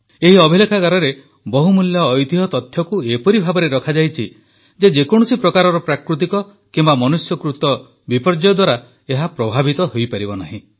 ଏହି ଅଭିଲେଖାଗାରରେ ବହୁମୂଲ୍ୟ ଐତିହ୍ୟ ତଥ୍ୟକୁ ଏପରି ଭାବରେ ରଖାଯାଇଛି ଯେ ଯେକୌଣସି ପ୍ରକାରର ପ୍ରାକୃତିକ କିମ୍ବା ମନୁଷ୍ୟକୃତ ବିପର୍ଯ୍ୟୟ ଦ୍ୱାରା ଏହା ପ୍ରଭାବିତ ହୋଇପାରିବ ନାହିଁ